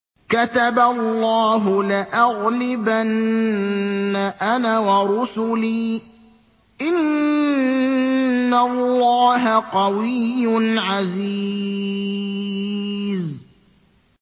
كَتَبَ اللَّهُ لَأَغْلِبَنَّ أَنَا وَرُسُلِي ۚ إِنَّ اللَّهَ قَوِيٌّ عَزِيزٌ